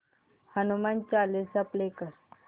Hanuman Chalisa play कर